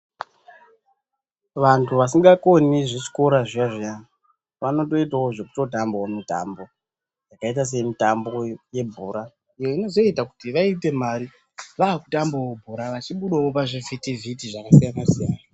Vantu vasingakoni zvechikora zviyazviya vanotoitawo zvekutoitawo zvekutamba mitambo zvakaita sekuita mitambo yebhora iyo inoyoita kuti vaite mari vava kutambawo bhora vachibudawo pazvivhiti vhiti zvakasiyana siyana.